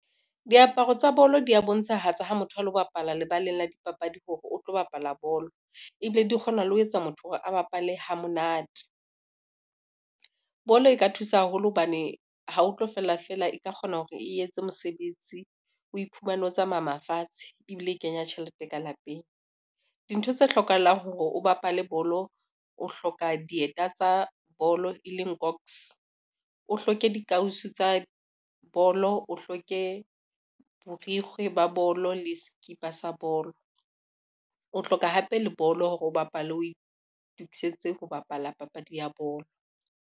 Diaparo tsa bolo di bontshahatsa ha motho a lo bapala lebaleng la dipapadi hore o tlo bapala bolo, ebile di kgona le ho etsa motho hore a bapale ha monate. Bolo e ka thusa haholo hobane ha ho tlo fela fela e ka kgona hore e etse mosebetsi, o iphumane o tsamaya fatshe ebile e kenya tjhelete ka lapeng. Dintho tse hlokahalang hore o bapale bolo, o hloka dieta tsa bolo e leng box, o hloke dikausu tsa bolo, o hloke borikgwe ba bolo le skipa sa bolo. O hloka hape le bolo hore o bapale, o itukisetse ho bapala papadi ya bolo.